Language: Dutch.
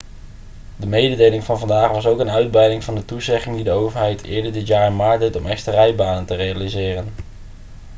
de mededeling van vandaag was ook een uitbreiding van de toezegging die de overheid eerder dit jaar in maart deed om extra rijbanen te realiseren